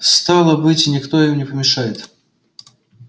стало быть никто им не помешает